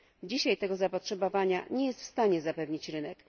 Dzisiaj tego zapotrzebowania nie jest w stanie zapewnić rynek.